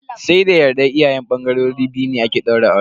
Sai da yardar iyayen bangarori biyu ne ake daura aure.